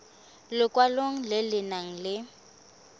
lekwalo le le nang le